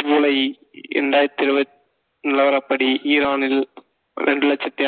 ஜூலை இரண்டாயிரத்தி இருவத்~ நிலவரப்படி ஈரானில் இரண்டு லட்சத்தி